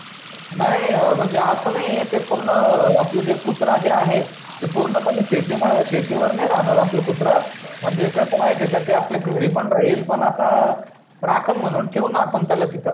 नाही म्हणजे आस नाही आहे ते पूर्ण आपल जे कुत्रा जे आहे ते पूर्णपणे शेती शेतीवर नाही राहणार ते कुत्रा म्हणजे कस माहीत आहे का ते आपल्या घरी पण राहील पण आता राखण म्हणून ठेऊ न आपण त्याला तित